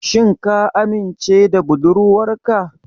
Shin ka amince da budurwarka?